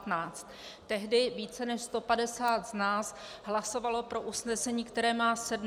Tehdy více než 150 z nás hlasovalo pro usnesení, které má sedm bodů.